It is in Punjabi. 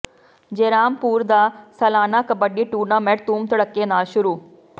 ਜੈਰਾਮਪੁਰ ਦਾ ਸਾਲਾਨਾ ਕਬੱਡੀ ਟੂਰਨਾਮੈਂਟ ਧੂਮ ਧੜੱਕੇ ਨਾਲ ਸ਼ੁਰੂ